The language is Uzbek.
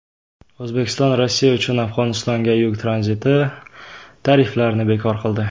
O‘zbekiston Rossiya uchun Afg‘onistonga yuk tranziti tariflarini bekor qildi.